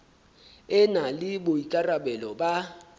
e na le boikarabelo ba